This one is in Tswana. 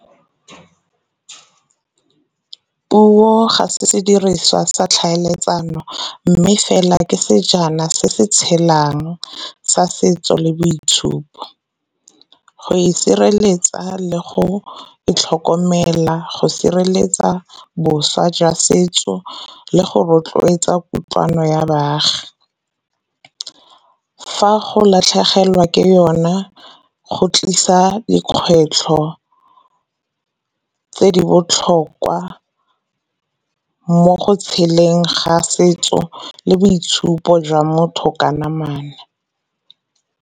Puo ga se sediriswa sa tlhaeletsano, mme fela ke sejana se se tshelang sa setso le boitshupo. Go e sireletsa le go itlhokomela go sireletsa boswa jwa setso le go rotloetsa kutlwano ya baagi. Fa go latlhegelwa ke yona nna go tlisa dikgwetlho tse di botlhokwa, mo go tsheleng ga setso le boitshupo jwa motho ka namana.